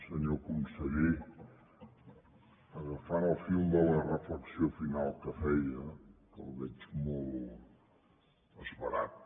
senyor conseller agafant el fil de la reflexió final que feia que el veig molt esverat